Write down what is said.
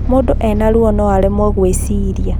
Mũndũ ena ruo noaremwo gwĩciria